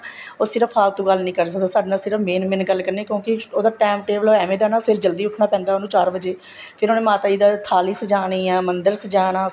ਉਹ ਸਿਰਫ਼ ਫ਼ਾਲਤੂ ਗੱਲ ਨਹੀਂ ਕਰ ਸਕਦਾ ਸਾਡੇ ਨਾਲ ਸਿਰਫ਼ main main ਕਰਨੀ ਕਿਉਂਕਿ ਉਹਦਾ time table ਐਵੇ ਦਾ ਹੈ ਨਾ ਫ਼ੇਰ ਉਹਨੂੰ ਜਲਦੀ ਉੱਠਣਾ ਪੈਂਦਾ ਏ ਚਾਰ ਵਜ਼ੇ ਫ਼ੇਰ ਉਹਨੇ ਮਾਤਾ ਜੀ ਦਾ ਥਾਲੀ ਸਜਾਣੀ ਆ ਮੰਦਰ ਸਜਾਣਾ